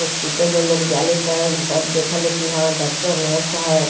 Hospital में लोग जाले ते इ सब देखे ले हां डॉक्टर नर्स है।